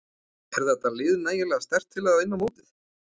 Er þetta lið nægilega sterkt til að vinna mótið?